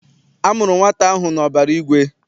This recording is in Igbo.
A mụrụ nwata ahụ n'ọbara igwe.